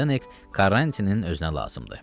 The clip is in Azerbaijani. Zdek Karrantinin özünə lazımdır.